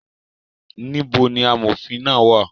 Níbo ni amòfin náà wà?